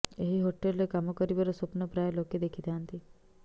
ଏହି ହୋଟେଲରେ କାମ କରିବାର ସ୍ବପ୍ନ ପ୍ରାୟ ଲୋକେ ଦେଖିଥାଆନ୍ତି